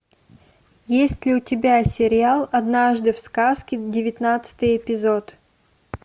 есть ли у тебя сериал однажды в сказке девятнадцатый эпизод